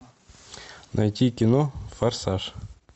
найти кино форсаж